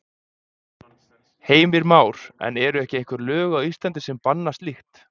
Heimir Már: En eru ekki einhver lög á Íslandi sem banna slíkt?